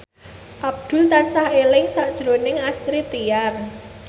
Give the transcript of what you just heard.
Abdul tansah eling sakjroning Astrid Tiar